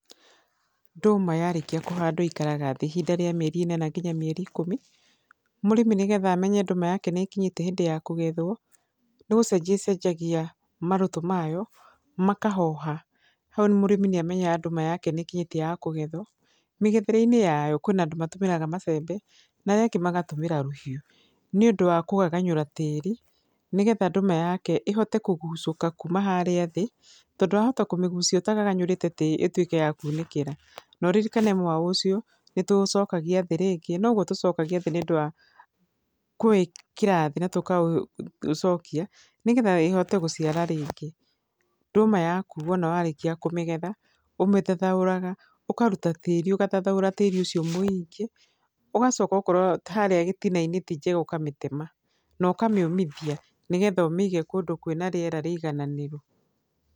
Ndũma yarĩkia kũhandwo ĩikaraga thĩ ihinda rĩa mĩeri ĩnana nginya mĩeri ikũmi. Mũrĩmi nĩgetha amenye ndũma yake nĩ ĩkinyĩte hĩndĩ ya kũgethwo, nĩ gũcenjia ĩcenjagia marũtũ mayo, makahoha. Hau mũrĩmi nĩ amenyaga ndũma yake nĩ ĩkinyĩtie ya kũgethwo. Mĩgethere-inĩ yayo, kwĩ na andũ matũmĩraga macembe, na arĩa angĩ magatũmĩra rũhiũ. Nĩ ũndũ wa kũgaganyũra tĩri, nĩgetha ndũma yake ĩhote kũgucũka kuuma harĩa thĩ, tondũ wahota kũmĩgucia ũtagaganyũrĩte tĩri ĩtuĩke ya kuunĩkĩra. Na ũririkane mwao ũcio, nĩ tũũcokagia thĩ rĩngĩ. Na ũguo tũũcokagia thĩ nĩ ũndũ wa kũwĩkĩra thĩ na tũkaũcokia, nĩgetha ĩhote gũciara rĩngĩ. Ndũma yaku wona warĩkia kũmĩgetha, ũmĩthathaũraga, ũkaruta tĩri ũgathathaũra tĩri ũcio mũingĩ, ũgacoka okorwo harĩa gĩtina-inĩ ti njega ũkamĩtema. Na ũkamĩũmithia nĩgetha ũmĩige kũndũ kwĩna rĩera rĩigananĩru.